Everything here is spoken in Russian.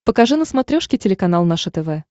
покажи на смотрешке телеканал наше тв